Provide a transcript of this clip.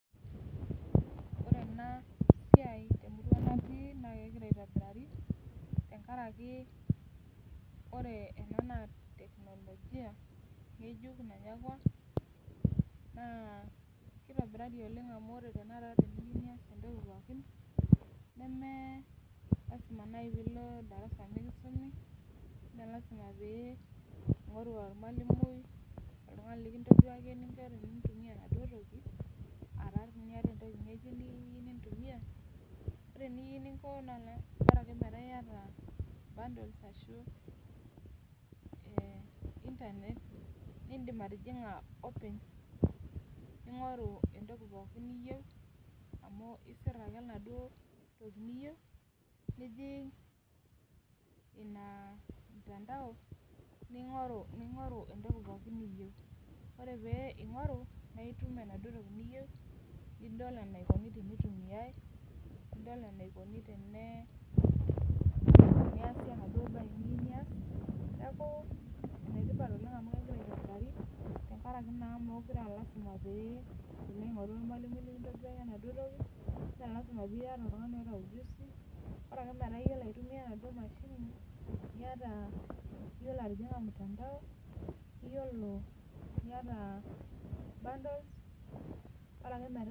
Ore ena siai emurua natii naa kegira aitobirari tengaraki ore ena na teknolojia ng'ejuk nanyakua naa kitobirari oleng amu ore tenakata teniminyia entoki pookin nemelazima nai piilo endarasa mikisumi mee lasima piingoru olamwalimui likintodol intokiting ore eningo naa bara akeyie metaa iyata bundles o internet niidim atijinga openy amu isir ake entoki niyieu nijing ina mutandao ningoru entoki pooki niyieu amu idol eneikuni teintumiai teniaasi enaduo baye niyieu nias niaku enetipat oleng amu kegira aitobirari tengaraki naa mukure aa lasima piingoru olamwalimui Ore ake piiyiolo aitumia emashini niyata iyiolo atininga mutandao niata